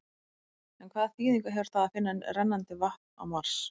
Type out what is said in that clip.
En hvaða þýðingu hefur það að finna rennandi vatn á Mars?